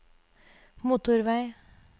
motorvei